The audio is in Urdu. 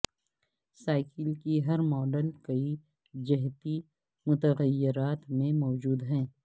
سائیکل کی ہر ماڈل کئی جہتی متغیرات میں موجود ہے